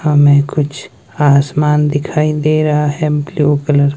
हमें कुछ आसमान दिखाई रहा है ब्ल्यू कलर --